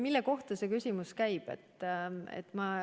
Mille kohta see küsimus käib?